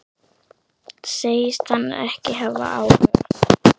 Segist hann ekki hafa áhuga?